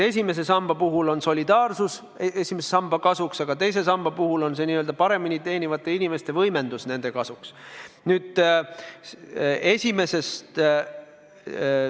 Esimese samba puhul räägib solidaarsus esimese samba kasuks, aga teise samba puhul on paremini teenivate inimeste n-ö võimendus nende kasuks.